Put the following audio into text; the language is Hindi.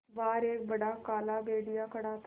बाहर एक बड़ा काला भेड़िया खड़ा था